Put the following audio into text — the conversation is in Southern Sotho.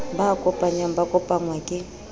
ba kopanyang ba kopangwa ke